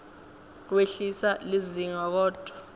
wehlisa lizinga kodvwa